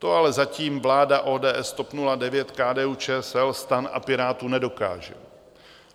To ale zatím vláda ODS, TOP 09, KDU-ČSL, STAN a Pirátů nedokáže.